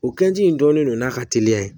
O kɛji in dɔnnen don n'a ka teliya